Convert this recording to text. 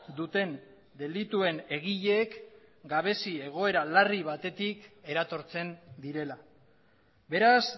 duten delituen egileek gabezi egoera larri batetik eratortzen direla beraz